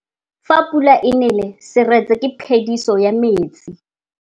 Fa pula e nelê serêtsê ke phêdisô ya metsi.